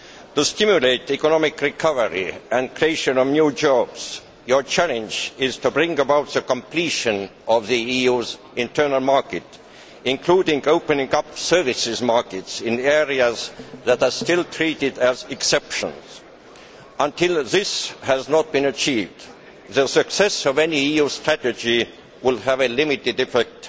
To stimulate economic recovery and the creation of new jobs, your challenge is to bring about the completion of the EU's internal market, including opening up services markets in areas that are still treated as exceptions. Until this has been achieved, the success of any EU strategy will have a limited effect.